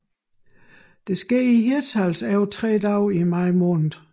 Det sker i Hirtshals over tre dage i maj måned